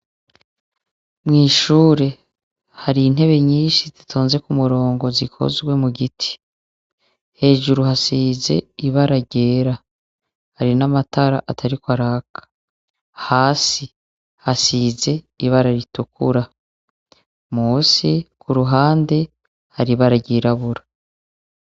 Mwishure hari intebe nyinshi zitonze kumurongo zikozwe mugiti hejuru hasize ibara ryera hari namatara atariko araka hasi hasize ibara ritukura munsi kuruhande hari ibara ryirabura